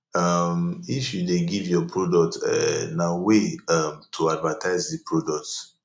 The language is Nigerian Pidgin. um if you de give your product um na way um to advertise di product